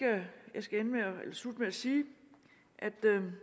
jeg skal slutte med at sige at